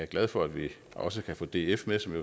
glad for at vi også kan få df